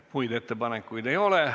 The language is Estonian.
Muid ettepanekuid ei ole.